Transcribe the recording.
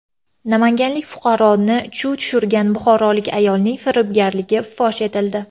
Namanganlik fuqaroni chuv tushirgan buxorolik ayolning firibgarligi fosh etildi.